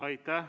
Aitäh!